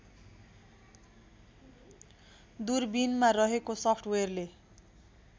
दूरबिनमा रहेको सफ्टवेयरले